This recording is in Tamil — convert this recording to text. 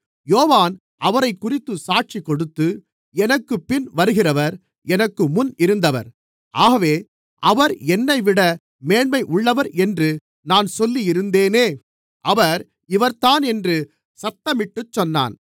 யோவான் அவரைக்குறித்துச் சாட்சிகொடுத்து எனக்குப்பின் வருகிறவர் எனக்கு முன்னிருந்தவர் ஆகவே அவர் என்னைவிட மேன்மையுள்ளவர் என்று நான் சொல்லியிருந்தேனே அவர் இவர்தான் என்று சத்தமிட்டு சொன்னான்